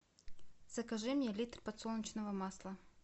закажи мне литр подсолнечного масла